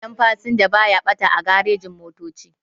Kayan fasinja baya ɓata a garejin-motoci.